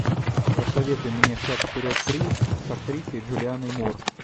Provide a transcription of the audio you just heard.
посоветуй мне шаг вперед три с актрисой джулианной мур